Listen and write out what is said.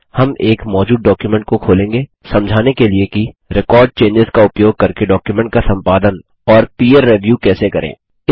हम एक मौजूद डॉक्युमेंट को खोलेंगे समझाने के लिए कि रेकॉर्ड चेंजों का उपयोग करके डॉक्युमेंट का संपादन और पीर रिव्यू कैसे करें